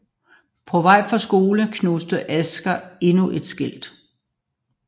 På vej fra skole knuser Asger endnu et skilt